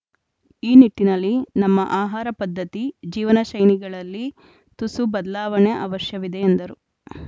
ಈ ನಿಟ್ಟಿನಲ್ಲಿ ನಮ್ಮ ಆಹಾರ ಪದ್ಧತಿ ಜೀವನಶೈಲಿಗಳಲ್ಲಿ ತುಸು ಬದಲಾವಣೆ ಅವಶ್ಯವಿದೆ ಎಂದರು